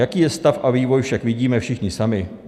Jaký je stav a vývoj však vidíme všichni sami.